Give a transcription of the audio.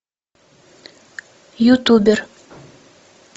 ютубер